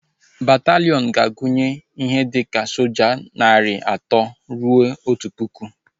Bataliiọn ga-agunye ihe dika soja narị atọ rue otu pụkụ